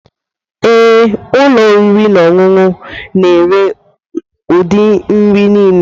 Ee, ụlọ oriri na ọṅụṅụ na-ere ụdị nri niile.